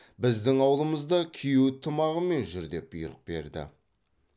біздің аулымызда күйеу тымағымен жүр деп бұйрық берді